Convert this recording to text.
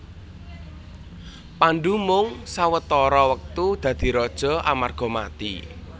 Pandhu mung sawetara wektu dadi raja amarga mati